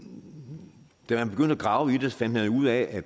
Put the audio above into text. da man begyndte at grave i det fandt man ud af